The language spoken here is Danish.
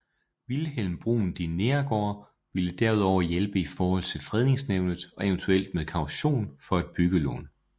Vilhelm Bruun de Neergaard ville derudover hjælpe i forhold til Fredningsnævnet og eventuelt med kaution for et byggelån